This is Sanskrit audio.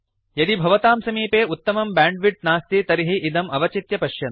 यदि भवतां समीपे उत्तमं ब्यांड्विड्त् नास्ति तर्हि इदम् अवचित्य पश्यन्तु